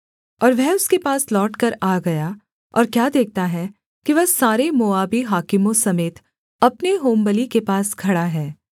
और वह उसके पास लौटकर आ गया और क्या देखता है कि वह सारे मोआबी हाकिमों समेत अपने होमबलि के पास खड़ा है